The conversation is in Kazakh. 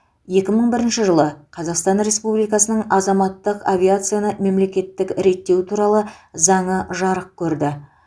екі мың бірінші жылы қазақстан республикасының азаматтық авиацияны мемлекеттік реттеу туралы заңы жарық көрді